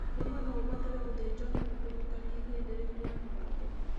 Rĩmwe no ũbatare gũthĩnjwo nĩguo kũrũngarĩa ihĩndĩ rĩu rĩa mũgongo.